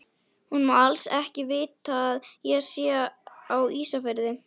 Hún má alls ekki vita að ég sé á Ísafirði!